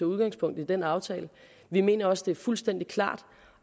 udgangspunkt i den aftale vi mener også at det er fuldstændig klart